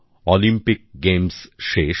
Olympic games শেষ